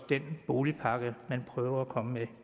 den boligpakke man kommer med